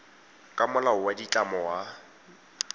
ka molao wa ditlamo wa